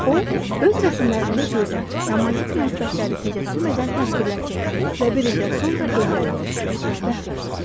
O, öz rəsmlərində gözəl, romantik münasibətləri təcəssüm edən təsvirlər çəkdi və bir ildən sonra evləndi və xoşbəxt yaşadı.